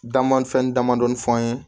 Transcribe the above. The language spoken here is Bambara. Dan man fɛn damadɔni fɔ an ye